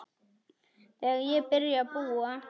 Þegar ég byrjaði að búa.